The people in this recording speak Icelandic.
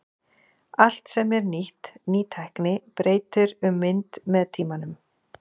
Allt sem er nýtt, ný tækni, breytir um mynd með tímanum.